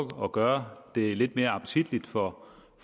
gøre det lidt mere appetitligt for